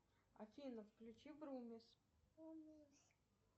афина включи грумис